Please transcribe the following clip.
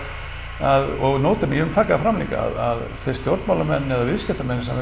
að og nota bene vil ég taka það fram líka að þú veist stjórnmálamenn eða viðskiptamenn sem